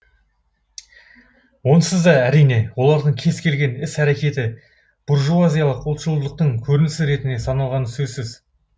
онсыз да әрине олардың кез келген іс әрекеті буржуазиялық ұлтшылдықтың көрінісі ретінде саналғаны сөзсіз